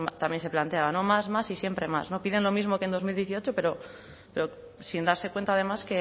también se planteaba más más y siempre más piden lo mismo que en dos mil dieciocho pero sin darse cuenta además